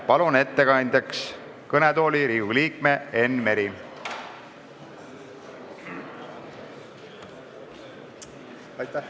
Palun ettekandeks kõnetooli Riigikogu liikme Enn Mere!